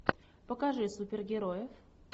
покажи супергероев